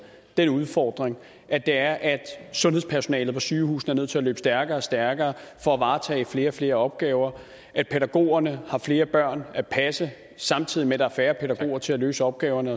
den udfordring at at sundhedspersonalet på sygehusene er nødt til at løbe stærkere og stærkere for at varetage flere og flere opgaver at pædagogerne har flere børn at passe samtidig med at der er færre pædagoger til at løse opgaverne